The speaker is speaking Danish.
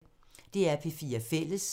DR P4 Fælles